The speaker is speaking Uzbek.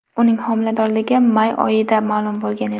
Uning homiladorligi may oyida ma’lum bo‘lgan edi .